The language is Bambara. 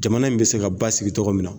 Jamana in be se ka ba sigi cogo min na